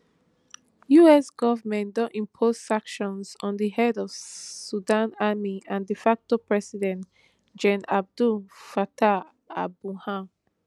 us government don impose sanctions on di head of sudan army and de facto president gen abdel fattah alburhan